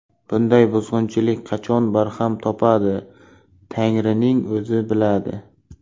Bunday buzg‘unchilik qachon barham topadi Tangrining o‘zi biladi.